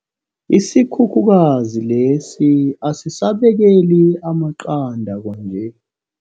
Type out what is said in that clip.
Isikhukhukazi lesi asisabekeli amaqanda kwanje.